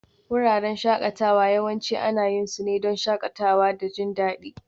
Wuraren shakatawa yawanci ana yin su ne don shakatawa da jin daɗi